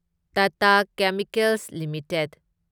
Tata chemicals limited